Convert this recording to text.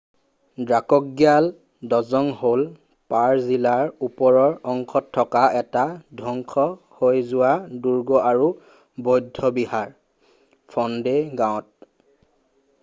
দ্ৰাকগ্যাল ড্জং হ’ল পাৰʼ জিলাৰ ওপৰৰ অংশত থকা এটা ধ্বংস হৈ যোৱা দুৰ্গ আৰু বৌদ্ধ বিহাৰ ফণ্ডে গাঁৱত।